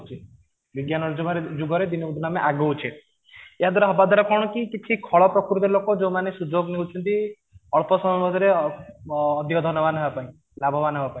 ବିଜ୍ଞାନ ଯୁଗରେ ଦିନକୁ ଦିନ ଆମେ ଆଗଉଛେ, ଏହା ଦ୍ୱାରା ହବା ଦ୍ୱାରା କଣ କି କିଛି ଖଳ ପ୍ରକୃତି ର ଲୋକ ଯୋଉ ମାନେ ସୁଯୋଗ ନେଉଛନ୍ତି ଅଳ୍ପ ସମୟ ମଧ୍ୟ ରେ ଅଧିକ ଧନଵାନ ହେବ ପାଇଁ ଲାଭବାନ ହେବ ପାଇଁ